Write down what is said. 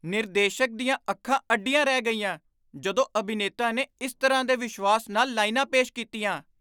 ਨਿਰਦੇਸ਼ਕ ਦੀਆਂ ਅੱਖਾਂ ਅੱਡੀਆਂ ਰਹਿ ਗਈਆਂ ਜਦੋਂ ਅਭਿਨੇਤਾ ਨੇ ਇਸ ਤਰ੍ਹਾਂ ਦੇ ਵਿਸ਼ਵਾਸ ਨਾਲ ਲਾਈਨਾਂ ਪੇਸ਼ ਕੀਤੀਆਂ।